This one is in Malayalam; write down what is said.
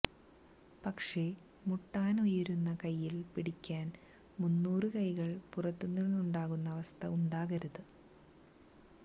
പക്ഷേ മുട്ടാനുയരുന്ന കൈയ്യില് പിടിക്കാന് മൂന്നൂറു കൈകള് പുറത്തുനിന്നുണ്ടാകുന്ന അവസ്ഥ ഉണ്ടാകരുത്